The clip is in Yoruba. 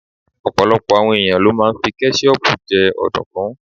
Ọ̀pọ̀lọpọ̀ àwọn ẹ̀yàn ló máa ń fí kẹ́ṣíhọpù jẹ ọ̀dùnkún.